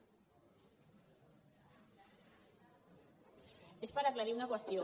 és per aclarir una qüestió